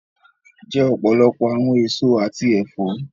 Jẹ ọpọlọpọ̀ awọn èsọ̀ àti ẹ̀fọ̀!